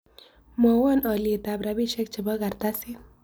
Mwawon ollietap rabisiek chepo kartasit